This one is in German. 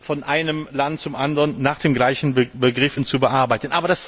von einem Land zum anderen nach den gleichen Begriffen zu bearbeiten.